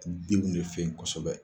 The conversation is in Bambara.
Denw de fɛ yen kosɛbɛ